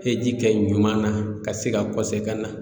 Hiji kɛ ɲuman na ka se ka ka na